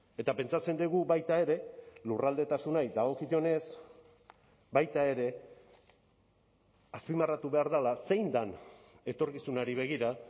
eta pentsatzen dugu baita ere lurraldetasunari dagokionez baita ere azpimarratu behar dela zein den etorkizunari begira